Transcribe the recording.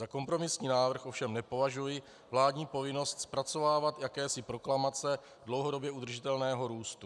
Za kompromisní návrh ovšem nepovažuji vládní povinnost zpracovávat jakési proklamace dlouhodobě udržitelného růstu.